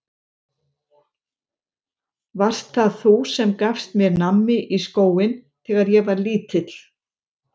Varst það þú sem gafst mér nammi í skóinn þegar ég var lítill?